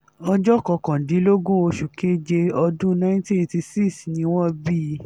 ọjọ́ kọkàndínlógún oṣù keje ọdún nineteen eighty six ni wọ́n bí i